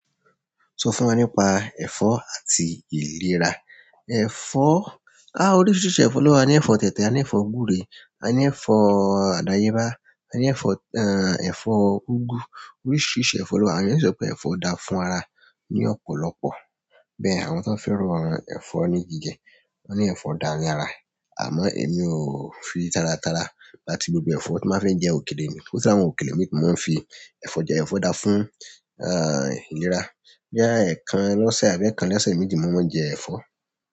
Sọ fún wa nípa ẹ̀fọ́ àti ìlera. Ẹ̀fọ́, oríṣiríṣi ẹ̀fọ́ ni o wa a ni ẹ̀fọ́ tẹtẹ, a ni ẹ̀fọ́ gbure, a ni ẹ̀fọ́ adayeba a ni ẹ̀fọ́ úgú. Oríṣìíríṣìí ẹ̀fọ́ ló wà, àwọn eeyan si pé ẹ̀fọ́ da fún ara ní ọ̀pọ̀lọpọ̀. Bẹ́ẹ̀ àwọn tón fẹ́ ràn ẹ̀fọ́ ní jíjẹ, wọ́n ní ẹ̀fọ́ da ní ara. Àmọ́ èmi ò fi tára tára gba ti gbogbo ẹ̀fọ́ tí n báa fe jẹ òkèlè ni. Yàtọ̀ ṣi kí àwọn òkèlè mi tí mo máa ń fi ẹ̀fọ́ jẹ, ẹ̀fọ́ da fún, ìlera. Boya ẹ̀ẹ̀kan lọ́sẹ̀ àbí ẹ̀ẹ̀kan lọ́sẹ̀ méjì ni mo máa ń jẹ ẹ̀fọ́.